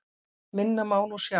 Minna má nú sjá.